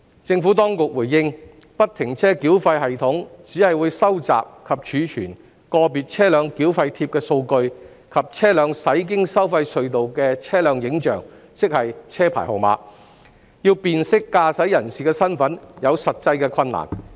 政府當局回應，不停車繳費系統只會收集及儲存個別車輛繳費貼的數據，以及車輛駛經收費隧道的車輛影像，要辨識駕駛人身份有實際困難。